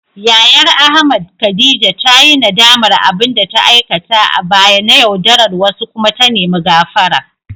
Yayar Ahmad, Khadija ta yi nadamar abin da ta aikata a baya na yaudarar wasu kuma ta nemi gafara.